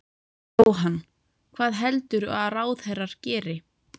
Jóhann: Hvað heldurðu að ráðherrar geri?